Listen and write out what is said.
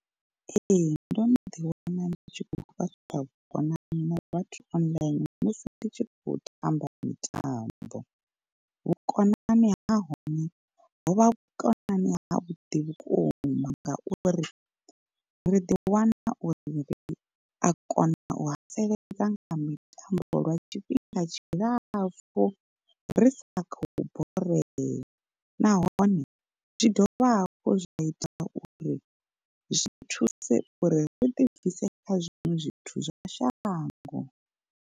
Ee ndo no ḓi wana ndi tshi kho fhaṱa vhukonani na vhathu online musi ndi tshi kho tamba mitambo. Vhukonani ha hone hovha vhukonani ha vhuḓi vhukuma ngauri, ri ḓiwana uri ri a kona u haseledza nga mitambo lwa tshifhinga tshilapfhu ri sa khou borea nahone zwi dovha hafhu zwa ita uri zwi thuse uri ri ḓi bvise kha zwiṅwe zwithu zwa shango.